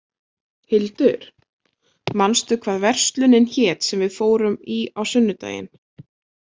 Hildur, manstu hvað verslunin hét sem við fórum í á sunnudaginn?